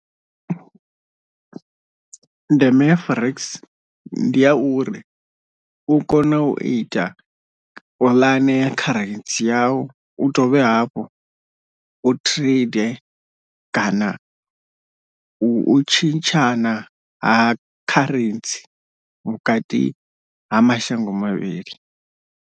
Ndeme ya forex ndi ya uri u kona u ita puḽane kha kharentsi yau u dovhe hafhu u trade kana u tshintshana ha kharentsi vhukati ha mashango mavhili.